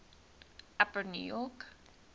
upper new york